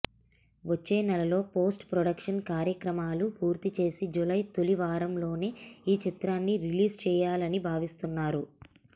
వచ్చే నెలలో post production కార్యక్రమాలు పూర్తి చేసి జులై తొలి వారంలోనే ఈ చిత్రాన్ని రిలీజ్ చేసేయాలని భావిస్తున్నారు